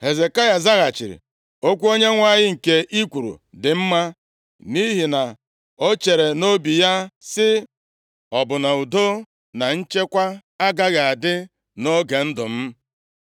Hezekaya zaghachiri, “Okwu Onyenwe anyị nke i kwuru dị mma.” Nʼihi na o chere nʼobi ya sị, “Ọ bụ na udo na nchekwa agaghị adị nʼoge ndụ m?”